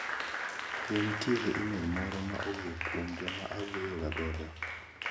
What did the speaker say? Bende nitiere imel moro ma owuok kuom joma awuoyo ga godo?